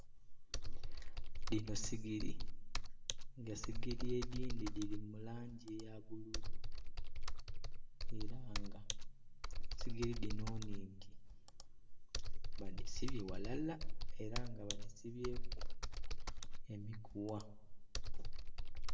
Dhino sigiri, nga sigiri edhindhi dhiri mu langi eya bbululu era nga sigiri dhino nnhingi, badhisibye ghalala era nga badhisibyeku emigugha.